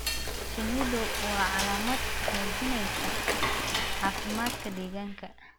Shinnidu waa calaamad muujinaysa caafimaadka deegaanka.